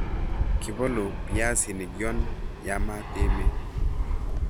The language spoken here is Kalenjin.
Kibolu biasinik yon yamat emet.